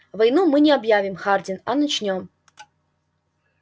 войну мы не объявим хардин а начнём